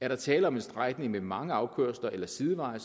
er der tale om en strækning med mange afkørsler eller sideveje